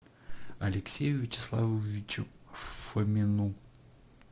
алексею вячеславовичу фомину